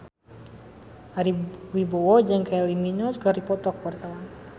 Ari Wibowo jeung Kylie Minogue keur dipoto ku wartawan